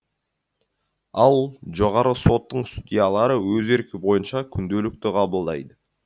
ал жоғарғы соттың судьялары өз еркі бойынша күнделікті қабылдайды